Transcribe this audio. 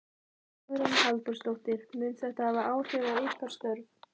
Hugrún Halldórsdóttir: Mun þetta hafa áhrif á ykkar störf?